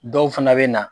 Dɔw fana bɛ na